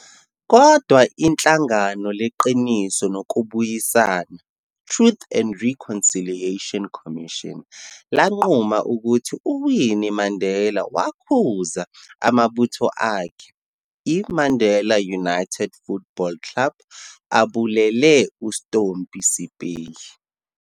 Kodwa, Ihlangano leQiniso Nokubuyisana, Truth and Reconciliation Commission, lanquma ukuthi uWinnie Mandela wayakhuza amabutho akhe, i-Mandela United Football Club, abulele uStompie Seipei.